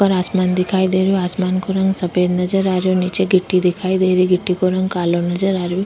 ऊपर आसमान दिखाई दे रहियो आसमान का रंग सफ़ेद नजर रही निचे गिट्टी दिखाई दे रही गिट्टी का रंग कालो नजर आ रयो।